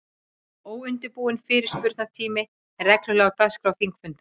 Óundirbúinn fyrirspurnatími er reglulega á dagskrá þingfunda.